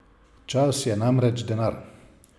Čas je namreč denar.